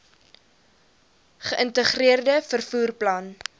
geïntegreerde vervoer plan